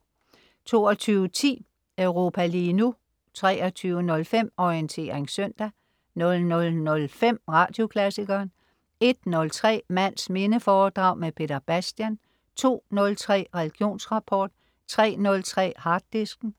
22.10 Europa lige nu* 23.05 Orientering søndag* 00.05 Radioklassikeren* 01.03 Mands minde foredrag med Peter Bastian* 02.03 Religionsrapport* 03.03 Harddisken*